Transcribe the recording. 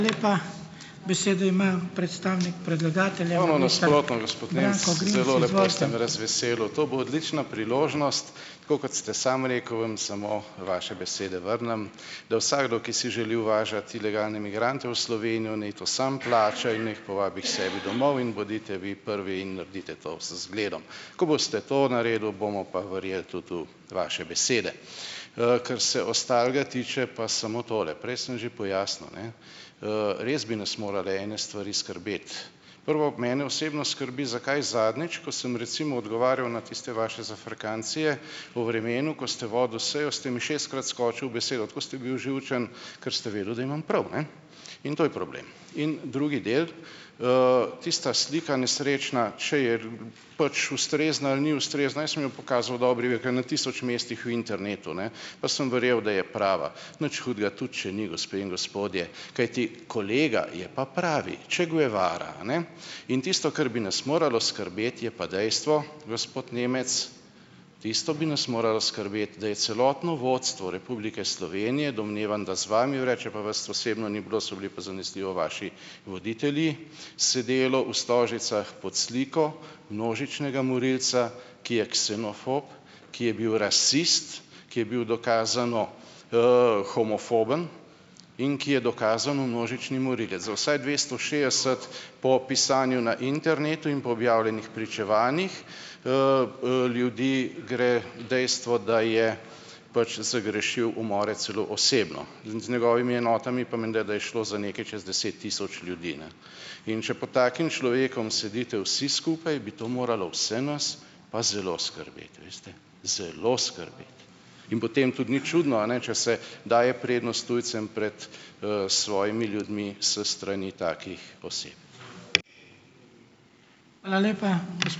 To bo odlična priložnost, tako kot ste sem rekel, vam samo vaše besede vrnem, da vsakdo, ki si želi uvažati ilegalne migrante v Slovenijo, ne to samo plača in naj jih povabi k sebi domov in bodite vi prvi in naredite to z zgledom. Ko boste to naredil, bomo pa verjel tudi v vaše besede. Kar se ostalega tiče, pa samo tole: prej sem že pojasnil, ne, res bi nas morale ene stvari skrbeti. Prvo, mene osebno skrbi, zakaj zadnjič, ko sem recimo odgovarjal na tiste vaše zafrkancije o vremenu, ko ste vodil sejo, ste mi šestkrat skočil v besedo. Tako ste bil živčen, ker ste vedel, da imam prav, ne? In to je problem. In drugi del, tista slika, nesrečna - če je pač ustrezna ali ni ustrezna, jaz sem jo pokazal v dobri veri, ki je na tisoč mestih v internetu, ne, pa sem verjel, da je prava. Nič hudega, tudi če ni, gospe in gospodje, kajti kolega, je pa pravi, Che Guevara, a ne? In tisto, kar bi nas moralo skrbeti, je pa dejstvo, gospod Nemec, tisto bi nas moralo skrbeti, da je celotno vodstvo Republike Slovenije - domnevam da z vami vred, čeprav vas osebno ni bilo, so bili pa zanesljivo vaši voditelji - sedelo v Stožicah pod sliko množičnega morilca, ki je ksenofob, ki je bil rasist, ki je bil dokazano, homofoben in ki je dokazano množični morilec - za vsaj dvesto šestdeset, po pisanju na internetu in po objavljenih pričevanjih, ljudi gre dejstvo, da je pač zagrešil umore celo osebno. Z njegovimi enotami pa menda, da je šlo za nekaj čez deset tisoč ljudi, ne, in če pod takim človekom sedite vsi skupaj, bi to moralo vse nas pa zelo skrbeti, veste, zelo skrbeti. In potem tudi ni čudno, a ne, če se daje prednost tujcem pred, svojimi ljudmi s strani takih oseb.